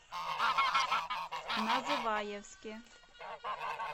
называевске